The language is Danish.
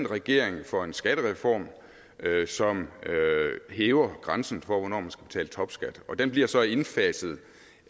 regering for en skattereform som hæver grænsen for hvornår man skal betale topskat den bliver så indfaset